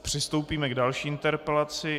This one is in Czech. Přistoupíme k další interpelaci.